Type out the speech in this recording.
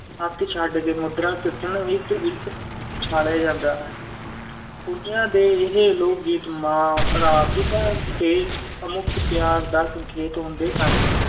ਹੱਥ ਛੱਡ ਕੇ ਮੁਦਰਾ ਸਿਰਜਣ ਹਿੱਤ ਵੀ ਉਛਾਲਿਆ ਜਾਂਦਾ ਹੈ ਕੁੜੀਆਂ ਦੇ ਇਹ ਲੋਕ-ਗੀਤ ਮਾਂ, ਭਰਾ, ਪਿਤਾ ਦੇ ਅਮੁੱਕ ਪਿਆਰ ਦਾ ਸੰਕੇਤ ਹੁੰਦੇ ਹਨ